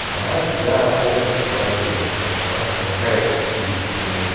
она тебя полностью пронизывает потому что она проникает в физический мир